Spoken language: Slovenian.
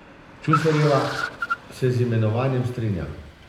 Čuferjeva se z imenovanjem strinja.